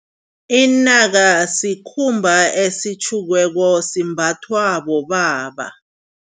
Inaka sikhumba esitjhukiweko simbathwa bobaba.